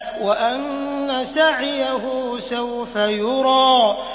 وَأَنَّ سَعْيَهُ سَوْفَ يُرَىٰ